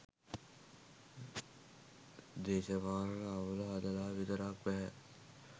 දේශපාලන අවුල හදලා විතරක් බැහැ.